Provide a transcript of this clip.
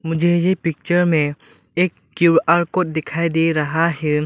मुझे ये पिक्चर में एक क्यू_आर कोड दिखाई दे रहा है।